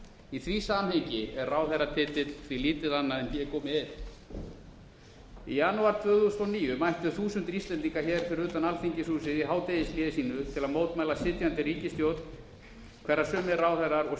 í því samhengi er ráðherratitill því lítið annað en hégómi einn í janúar tvö þúsund og níu mættu þúsundir íslendinga fyrir utan alþingishúsið í hádegishléi sínu til að mótmæla sitjandi ríkisstjórn hverra sumir ráðherrar og